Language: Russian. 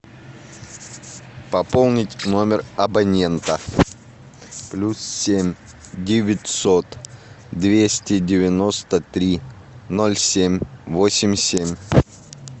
пополнить номер абонента плюс семь девятьсот двести девяносто три ноль семь восемь семь